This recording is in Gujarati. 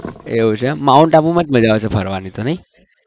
એવું છે એમ માઉન્ટ આબુમાં જ મજા આવે છે ફરવાની તો નહિ?